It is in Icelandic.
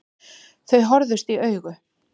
Þau horfðust í augu.